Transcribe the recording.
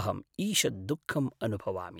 अहम् ईषत् दुःखम् अनुभवामि।